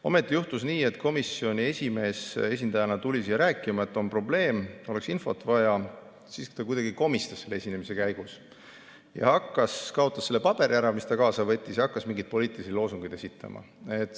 Ometi juhtus nii, et komisjoni esimees tuli siia rääkima, et on probleem, oleks infot vaja, ja siis ta kuidagi komistas selle esinemise käigus ja kaotas selle paberi ära, mis ta kaasa oli võtnud, ning hakkas mingeid poliitilisi loosungeid esitama.